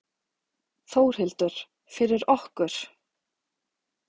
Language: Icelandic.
Þórhildur: Fyrir okkur?